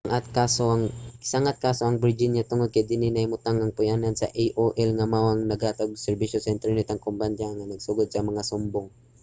gisang-at ang kaso sa virginia tungod kay dinhi nahimutang ang puy-anan sa aol nga mao ang naghatag og serbisyo sa internet ang kumpanya nga nagsugod sa mga sumbong